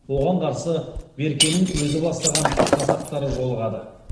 оған қарсы беркенің өзі бастаған жасақтар жолығады